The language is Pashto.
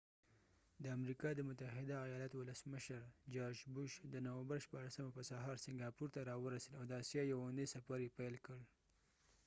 د امریکا د متحده آیالاتو ولسمشر george w.bush د نومبر 16 په سهار سنګاپور ته راورسید او د آسیا د یوې اونۍ سفر یې پیل کړ